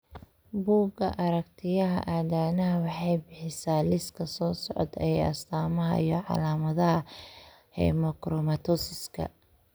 Bugga Aragtiyaha Aadanaha waxay bixisaa liiska soo socda ee astamaha iyo calaamadaha Hemochromatosiska.